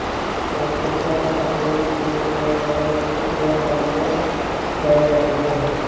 ਉਦਤਾਮ ਅਤੇ ਇਦਿਆਂ ਤੋਂ ਵਿਦਿਆ ਵੱਲ ਲੈ ਜਾਂਦੀ ਹੈ